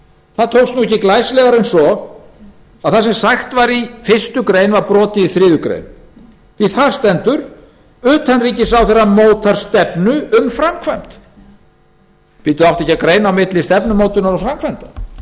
það tókst ekki glæsilegar en svo að það sem sagt var í fyrstu grein var brotið í þriðju greinar því þar stendur að utanríkisráðherra móti stefnu um framkvæmd átti ekki að greina á milli stefnumótunar og framkvæmdar